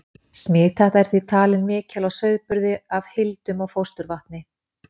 Smithætta er því talin mikil á sauðburði af hildum og fósturvatni.